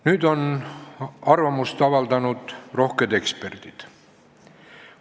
Nüüd, arvamust on avaldanud rohked eksperdid.